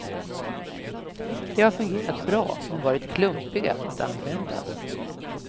De har fungerat bra, men varit klumpiga att använda.